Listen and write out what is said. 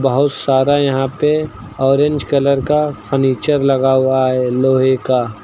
बहुत सारा यहां पे ऑरेंज कलर का फर्नीचर लगा हुआ है लोहे का।